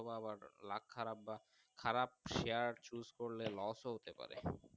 তো আবার Luck খারাপ বা খারাপ Share Choose করলে Los হইতে পারে।